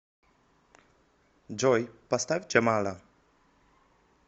джой поставь джамала